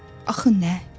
Axı nə?